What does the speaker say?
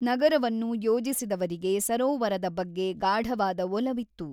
ನಗರವನ್ನು ಯೋಜಿಸಿದವರಿಗೆ ಸರೋವರದ ಬಗ್ಗೆ ಗಾಢವಾದ ಒಲವಿತ್ತು.